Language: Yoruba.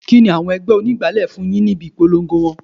Kini àwọn ẹgbẹ́ onígbálé fún yìí ni ibi ìpolongo wọn?